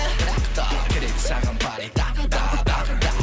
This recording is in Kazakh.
бірақ та керек саған пари тағы да тағы да